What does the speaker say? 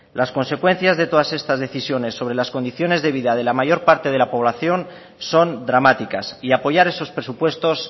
las consecuencias de todas estas decisiones sobre las condiciones de vida de la mayor parte de la población son dramáticas y apoyar esos presupuestos